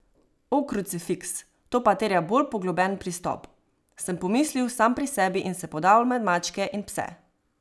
O krucefiks, to pa terja bolj poglobljen pristop, sem pomislil sam pri sebi in se podal med mačke in pse.